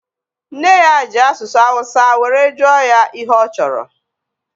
Nne ya ji asụsụ awụsa were jụọ ya ihe ọ chọrọ